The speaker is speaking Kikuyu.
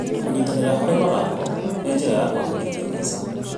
Kũnyitanĩra harĩ mathako nĩ njĩra ya kũagĩrithia maica.